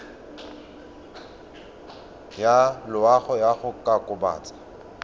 ya loago ya go kokobatsa